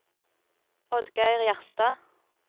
Oddgeir Gjerstad